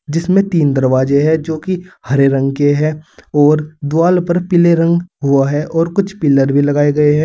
जिसमें तीन दरवाजे है जो कि हरे रंग के है और द्वाल पर पीले रंग हुआ है और कुछ पिलर भी लगाए गए है।